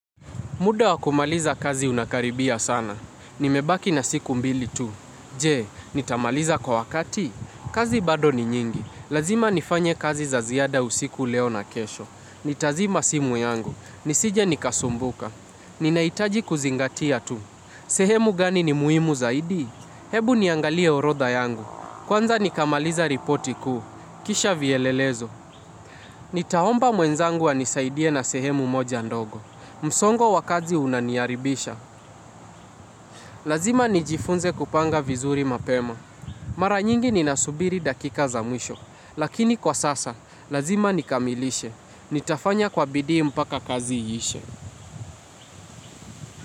Muda wakumaliza kazi unakaribia sana. Nimebaki na siku mbili tu. Je, nitamaliza kwa wakati? Kazi bado ni nyingi. Lazima nifanye kazi za ziada usiku leo na kesho. Nitazima simu yangu. Nisije nikasumbuka. Ninaitaji kuzingatia tu. Sehemu gani ni muhimu zaidi? Hebu niangalie orodha yangu. Kwanza nikamaliza ripoti kuu. Kisha vielelezo. Nitaomba mwenzangu anisaidie na sehemu moja ndogo. Msongo wa kazi unaniaribisha. Lazima nijifunze kupanga vizuri mapema. Mara nyingi, ni nasubiri dakika za mwisho. Lakini kwa sasa, lazima nikamilishe. Nitafanya kwa bidii mpaka kazi iishe.